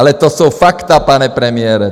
Ale to jsou fakta, pane premiére.